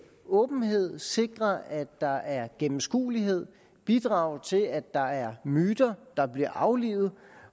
åbenhed sikre at der er gennemskuelighed bidrage til at der er myter der bliver aflivet